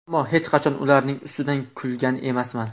Ammo hech qachon ularning ustidan kulgan emasman.